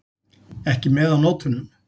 Ekki með á nótunum.